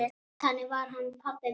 Þannig var hann pabbi minn.